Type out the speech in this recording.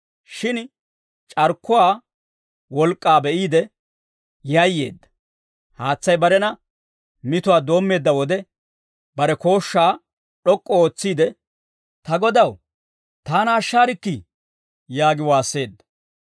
Shin c'arkkuwaa wolk'k'aa be'iide, yayyeedda; haatsay barena mituwaa doommeedda wode, bare kooshshaa d'ok'k'u ootsiide, «Ta Godaw taana ashshaarikkii!» yaagi waasseedda.